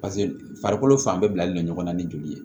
Paseke farikolo fan bɛɛ bilalen don ɲɔgɔn na ni joli ye